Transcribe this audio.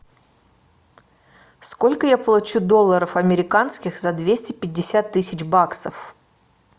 сколько я получу долларов американских за двести пятьдесят тысяч баксов